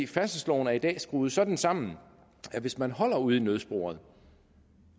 færdselsloven er i dag skruet sådan sammen at hvis man holder ude i nødsporet